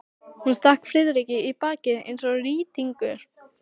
Hún stakk Friðrik í bakið eins og rýtingur.